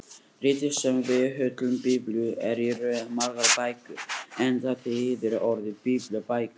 Ritið sem við köllum Biblíu er í raun margar bækur enda þýðir orðið biblía bækur.